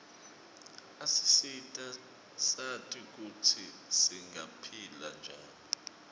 asisita sati kutsi singaphila njani